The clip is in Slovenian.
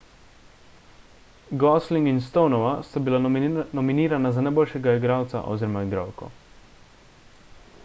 gosling in stonova sta bila nominirana za najboljšega igralca oziroma igralko